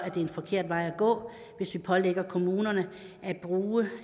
er den forkerte vej at gå hvis vi pålægger kommunerne at bruge